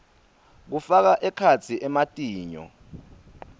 kufaka ekhatsi ematinyo